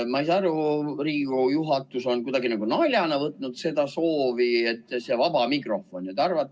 Ma ei saa aru, miks Riigikogu juhatus on kuidagi nagu naljana võtnud seda soovi, et see vaba mikrofon.